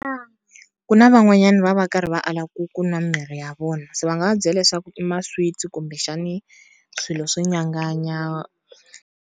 Ku na van'wanyana va va karhi va ala ku ku nwa mirhi ya vona, se va nga va byela leswaku i ma-sweets kumbexani swilo swo nyanganya.